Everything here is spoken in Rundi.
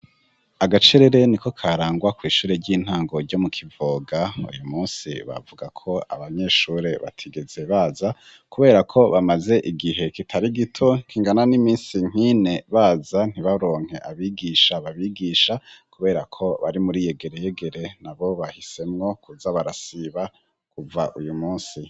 Agacerere niko karangwa kw'ishure ry'intango ryo mu Kivoga, uyu munsi bavuga ko abanyeshure batigeze baza kuberako bamaze igihe kitari gito kingana n'imisi nk'ine baza ntibaronke abigisha babigisha, kuberako bari muri yegereyegere nabo bahisemwo kuza barasiba kuva uyu munsi.